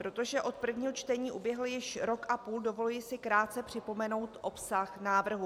Protože od prvního čtení uběhl již rok a půl, dovoluji si krátce připomenout obsah návrhu.